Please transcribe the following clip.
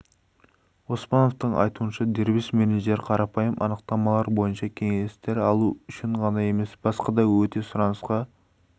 оспановтың айтуынша дербес менеджер қарапайым анықтамалар бойынша кеңестер алу үшін ғана емес басқа да өте сұранысқа